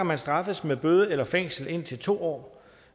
man straffes med bøde eller fængsel indtil to år